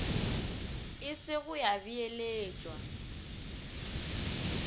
e se go ya beeletšwa